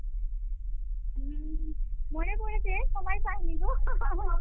হম মনে পড়েছে সময় পাইনিগো